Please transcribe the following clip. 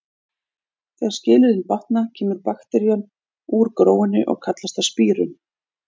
Þegar skilyrðin batna kemur bakterían úr gróinu og kallast það spírun.